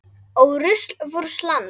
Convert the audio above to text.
Ó rusl vors lands.